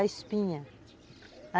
A espinha.